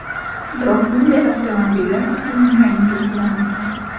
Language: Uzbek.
Biroq bunday avtomobillar uchun rang belgilanmagan.